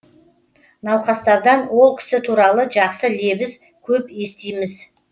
науқастардан ол кісі туралы жақсы лебіз көп естиміз